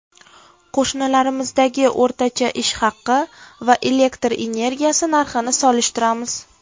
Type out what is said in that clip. Qo‘shnilarimizdagi o‘rtacha ish haqi va elektr energiyasi narxini solishtiramiz.